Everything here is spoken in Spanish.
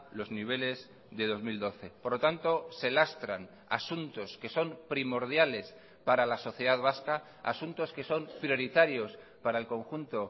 los niveles de dos mil doce por lo tanto se lastran asuntos que son primordiales para la sociedad vasca asuntos que son prioritarios para el conjunto